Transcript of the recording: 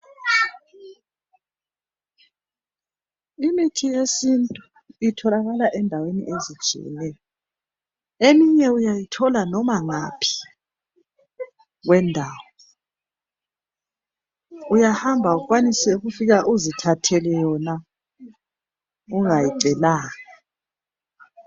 Imithi yesintu itholakala endaweni ezitshiyeneyo .Eminye uyayithola noma ngaphi kwendawo Uyahamba ukwanise ukufika uzithathele yona ungayicelanga .